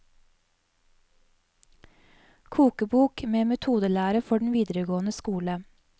Kokebok med metodelære for den videregående skole.